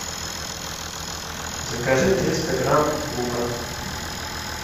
закажи триста грамм лука